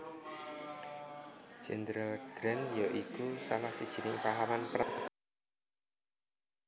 Jenderal Grant ya iku salah sijining pahlawan Perang Sedulur Amerika